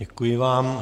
Děkuji vám.